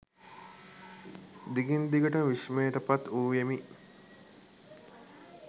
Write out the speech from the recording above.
දිගින් දිගටම විස්මයට පත් වූයෙමි